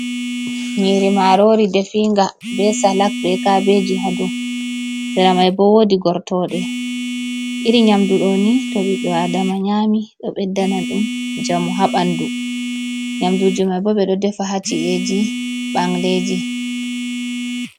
Nyiri marori definga be salak, be kabeji ha dou, sera mai bo woodi gortooɗe. Iri nyamdu ɗo ni to ɓiɗɗo Adama nyami ɗo ɓedda na ɗum njamu ha ɓandu. Nyamduuji mai bo ɓe ɗo defa ha ci’eji ɓangleeji.